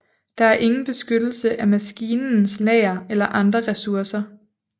Der er ingen beskyttelse af maskinens lager eller andre ressourcer